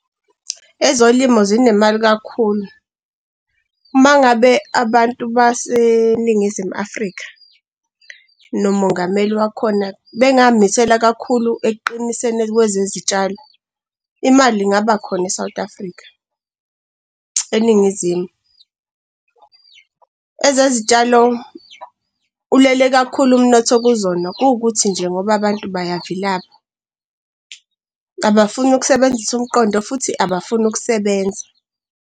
Ezolimo zinemali kakhulu, uma ngabe abantu baseNingizimu Afrika, nomongameli wakhona bengay'misela kakhulu ekuqiniseni kwezezitshalo, imali ingaba khona e-South Africa, eNingizimu. Ezezitshalo, ulele kakhulu umnotho kuzona kuwukuthi nje ngoba abantu bayavilapha, abafuni ukusebenzisa umqondo futhi abafuni ukusebenza.